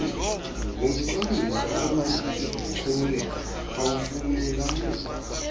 wocwangciso olunobuchule awufanelanga